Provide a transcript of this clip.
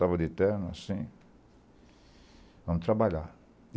Tava de terno, assim... Vamos trabalhar.